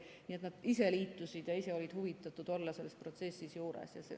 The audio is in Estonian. Nii et nad ise liitusid ja ise olid huvitatud olema selle protsessi juures.